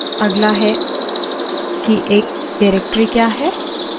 अगला directory क्या है